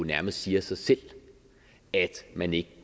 nærmest siger sig selv at man ikke